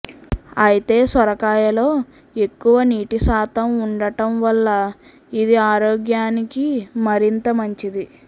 అయితే సొరకాయలో ఎక్కువ నీటి శాతం ఉండటం వల్ల ఇది ఆరోగ్యానికి మరింత మంచిది